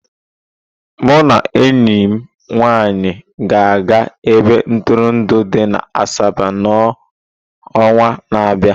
Mụ na enyi m nwanyị ga-aga ebe ntụrụndụ dị na Asaba n'ọnwa na-abịa.